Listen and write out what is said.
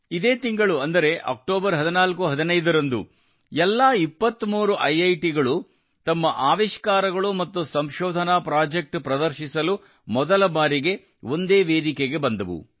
ಇದೇ ತಿಂಗಳು ಅಂದರೆ ಅಕ್ಟೋಬರ್ 1415 ರಂದು ಎಲ್ಲಾ 23 ಐಐಟಿಗಳು ತಮ್ಮ ಆವಿಷ್ಕಾರಗಳು ಮತ್ತು ಸಂಶೋಧನಾ ಪ್ರಾಜೆಕ್ಟ್ ಪ್ರದರ್ಶಿಸಲು ಮೊದಲ ಬಾರಿಗೆ ಒಂದೇ ವೇದಿಕೆಗೆ ಬಂದವು